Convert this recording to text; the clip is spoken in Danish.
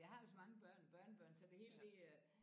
Jeg har jo så mange børn børnebørn så det hele det øh